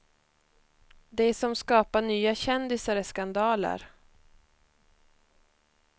Det som skapar nya kändisar är skandaler.